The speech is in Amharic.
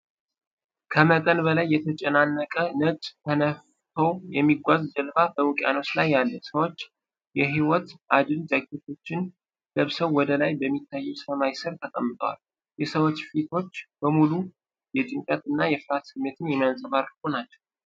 ከመጠን በላይ የተጨናነቀ ነጭ ተነፍቶ የሚጓዝ ጀልባ በውቅያኖስ ላይ አለ። ሰዎች የህይወት አድን ጃኬቶችን ለብሰው ወደ ላይ በሚታየው ሰማይ ስር ተቀምጠዋል። የሰዎች ፊቶች በሙሉ የጭንቀት እና የፍርሃት ስሜት የሚያንጸባርቁ ናቸው።